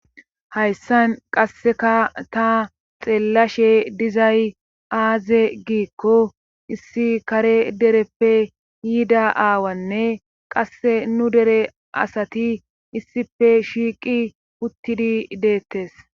Hayssan qasseka ta xeellashe dizay aaze giikko issi kare dereppe yiida aawanne qasse nu dere asati issife shiiqi uttidi deettes